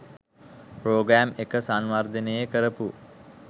programme එක සංවර්ධනේ කරපු